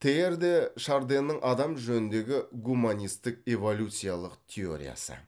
тейяр де шарденнің адам жөніндегі гуманистік эволюциялық теориясы